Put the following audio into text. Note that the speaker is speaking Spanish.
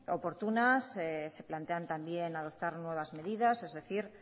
oportunas se plantean también adoptar nuevas medidas es decir